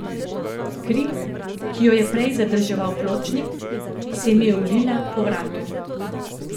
Kri, ki jo je prej zadrževal pločnik, se mi je ulila po vratu.